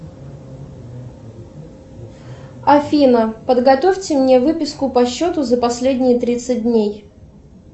афина подготовьте мне выписку по счету за последние тридцать дней